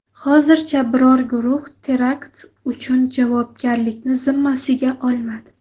Hozircha biror guruh terakt uchun javobgarlikni zimmasiga olmadi.